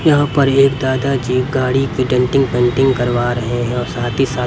यहां पर एक दादा जी गाड़ी की पेंटिंग करवा रहे हैं और साथ ही साथ--